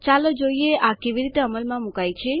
ચાલો જોઈએ આ કેવી રીતે અમલમાં મુકાય છે